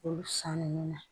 Olu san ninnu na